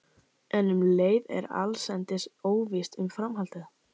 En um leið er allsendis óvíst um framhaldið.